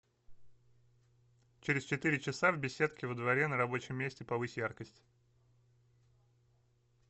через четыре часа в беседке во дворе на рабочем месте повысь яркость